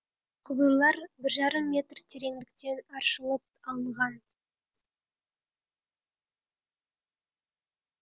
құбырлар бір жарым метр тереңдіктен аршылып алынған